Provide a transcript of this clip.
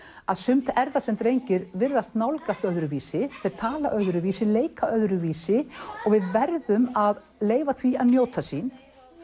að sumt er það sem drengir virðast nálgast öðruvísi þeir tala öðruvísi leika öðruvísi og við verðum að leyfa því að njóta sín